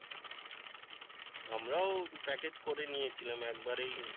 আমরাও package করে নিয়েছিলাম একবারেই